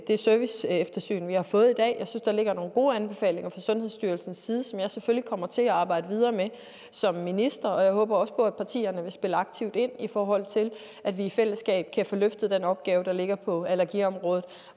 det serviceeftersyn vi har fået i dag jeg der ligger nogle gode anbefalinger fra sundhedsstyrelsens side som jeg selvfølgelig kommer til arbejde videre med som minister jeg håber også på at partierne vil spille aktivt ind i forhold til at vi i fællesskab kan få løftet den opgave der ligger på allergiområdet